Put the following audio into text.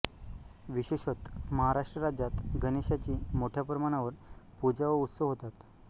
विशेषतः महाराष्ट्र राज्यात गणेशाची मोठ्या प्रमाणावर पूजा व उत्सव होतात